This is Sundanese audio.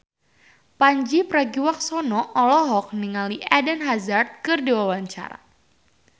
Pandji Pragiwaksono olohok ningali Eden Hazard keur diwawancara